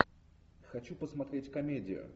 хочу посмотреть комедию